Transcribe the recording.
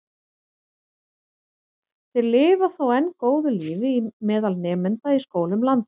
Þeir lifa þó enn góðu lífi meðal nemenda í skólum landsins.